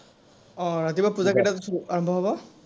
আহ ৰাতিপুৱা পূজা কেইটাত আৰম্ভ হব?